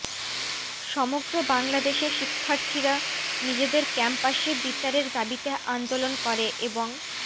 সমগ্র বাংলাদেশে শিক্ষার্থীরা নিজেদের ক্যাম্পাসে বিচারের দাবীতে আন্দোলন করে এবং